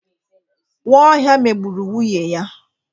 Nwaohia megburu nwunye ya.